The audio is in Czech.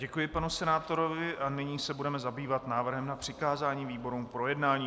Děkuji panu senátorovi a nyní se budeme zabývat návrhem na přikázání výborům k projednání.